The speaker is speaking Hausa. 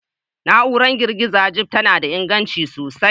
Na'urar girgiza Jeep tana da inganci sosai